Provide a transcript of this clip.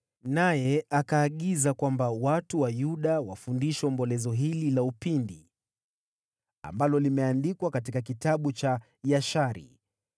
naye akaagiza kwamba watu wa Yuda wafundishwe ombolezo hili la upinde (ambalo limeandikwa katika Kitabu cha Yashari):